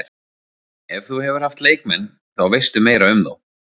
Ef þú hefur haft leikmenn, þá veistu meira um þá.